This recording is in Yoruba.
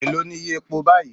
Èló ni iye epo báyìí?